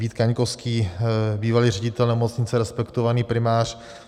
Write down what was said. Vít Kaňkovský, bývalý ředitel nemocnice, respektovaný primář.